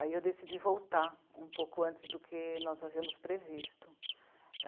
Aí eu decidi voltar um pouco antes do que nós havíamos previsto.